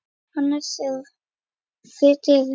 Annars er vá fyrir dyrum.